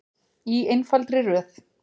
Í einfaldri röð.